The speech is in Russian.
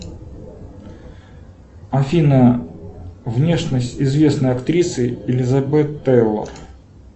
афина внешность известной актрисы элизабет тейлор